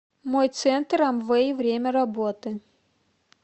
мой центр амвэй время работы